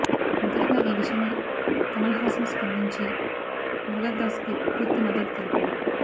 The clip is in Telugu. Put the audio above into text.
మొదటగా ఈ విషయమై కమల్ హాసన్ స్పందించి మురుగదాస్కు పూర్తి మద్దతు తెలిపాడు